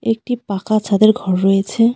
একটি পাকা ছাদের ঘর রয়েছে।